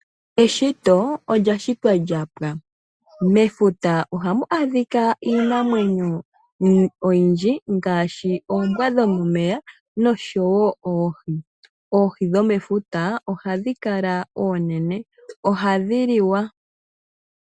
Eshito olyashitwa lyapwa, mefuta ohamu adhika iinamwenyo oyindji ngaashi oombwa dhomomeya nosho wo oohi. Oohi dho mefuta ohadhi kala onene, ohadhi liwa.